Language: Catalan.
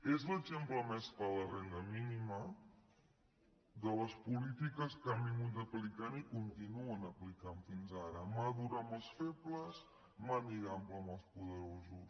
és l’exemple més clar la renda mínima de les polítiques que han estat aplicant i continuen aplicant fins ara mà dura amb els febles màniga ampla amb els poderosos